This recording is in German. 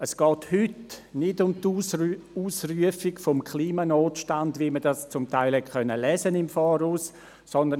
Es geht heute nicht um die Ausrufung des Klimanotstands, wie man im Vorfeld zum Teil lesen konnte.